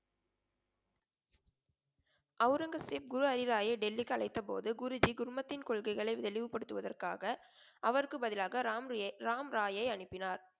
ஒளரங்கசீப் குரு ஹரிராயை டெல்லிக்கு அழைத்த போது குருஜி குழுமத்தின் கொள்கைகளை தெளிவுபடுத்துவதற்காக அவருக்கு பதிலாக ராம்ரியை ராம்ராயை அனுப்பினார்.